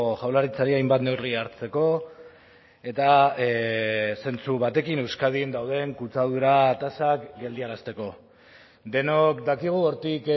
jaurlaritzari hainbat neurri hartzeko eta zentzu batekin euskadin dauden kutsadura tasak geldiarazteko denok dakigu hortik